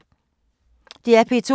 DR P2